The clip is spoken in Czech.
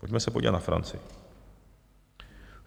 Pojďme se podívat na Francii.